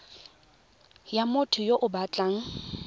ya motho yo o batlang